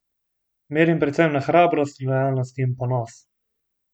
Merim predvsem na hrabrost, lojalnost in ponos.